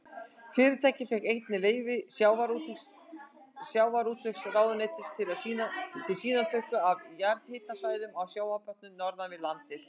Fyrirtækið fékk einnig leyfi sjávarútvegsráðuneytisins til sýnatöku af jarðhitasvæðum á sjávarbotni norðan við landið.